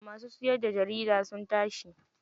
Masu siyarda jarida sun tashi.